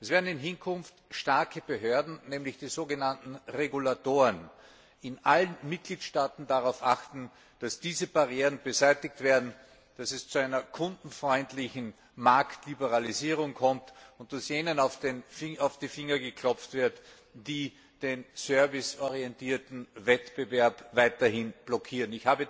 Es werden in Hinkunft starke Behörden, nämlich die sogenannten Regulatoren, in allen Mitgliedstaaten darauf achten, dass diese Barrieren beseitigt werden, dass es zu einer kundenfreundlichen Marktliberalisierung kommt und dass jenen auf die Finger geklopft wird, die den serviceorientierten Wettbewerb weiterhin blockieren.